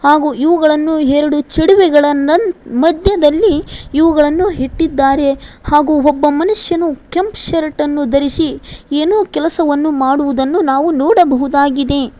ಹಾಗೂ ಇವುಗಳನ್ನು ಎರಡು ಚಿಡವೆ ಗಳನನ್ನ ಮಧ್ಯದಲ್ಲಿ ಇವುಗಳನ್ನು ಇಟ್ಟಿದ್ದಾರೆ ಹಾಗೂ ಒಬ್ಬ ಮನುಷ್ಯನು ಕೆಂಪ್ ಶರ್ಟ್ ಅನ್ನು ಧರಿಸಿ ಏನು ಕೆಲಸವನ್ನು ಮಾಡುವುದನ್ನು ನಾವು ನೋಡಬಹುದಾಗಿದೆ.